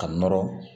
Ka nɔrɔ